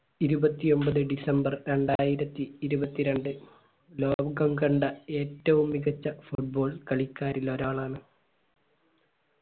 ഇരുപത്തി ഒമ്പത് december രണ്ടായിരത്തി ഇരുപത്തിരണ്ട് ലോകം കണ്ട ഏറ്റവും മികച്ച football കളിക്കാരിൽ ഒരാളാണ്